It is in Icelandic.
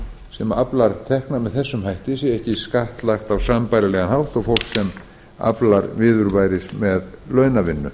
sem aflar tekna með þessum hætti sé ekki skattlagt á sambærilegan hátt og fólk sem aflar viðurværis með launavinnu